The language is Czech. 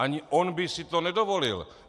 Ani on by si to nedovolil.